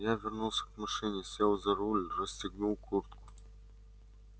я вернулся к машине сел за руль расстегнул куртку